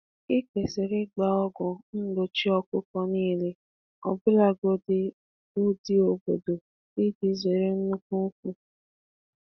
Ikwesiri inye anụ ọkụkọ niile ọgwụ mgbochi—makwa ndị obodo, ka a ghara imfu ibu.